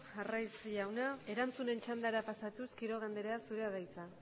arraiz jauna erantzunen txandara pasatuz quiroga andrea zurea da hitza